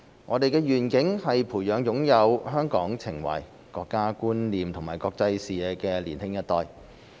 我們的願景是培養擁有香港情懷、國家觀念和國際視野的年輕一代。